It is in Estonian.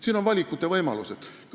Siin on valikuvõimalus olemas.